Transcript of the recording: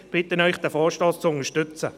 Ich bitte Sie, den Vorstoss zu unterstützen.